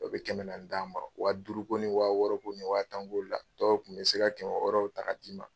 O bɛ kɛmɛ naani d'an ma wa duuru ko ni wa wɔɔrɔ ko ni wa tan ko la dɔw tun bɛ se ka kɛmɛ wɔɔrɔw ta ka d'i ma.